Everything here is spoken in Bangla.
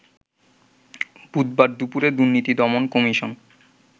বুধবার দুপুরে দুর্নীতি দমন কমিশন